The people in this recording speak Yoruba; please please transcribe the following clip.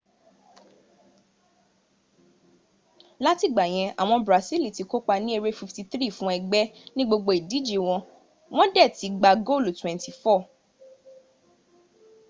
láti ìgbàyẹn àwọn brasili ti kópa ní eré 53 fún ẹgbẹ́ ní gbogbo ìdíje wọ́n dẹ̀ ti gbá goolu 24